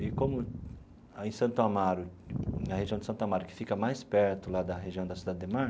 E como aí Santo Amaro na região de Santo Amaro, que fica mais perto lá da região da Cidade Ademar,